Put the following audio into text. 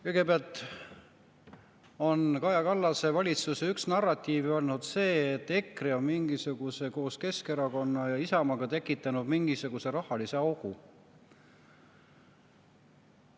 Kõigepealt, Kaja Kallase valitsuse üks narratiiv on olnud ju see, et EKRE on koos Keskerakonna ja Isamaaga tekitanud mingisuguse rahalise augu.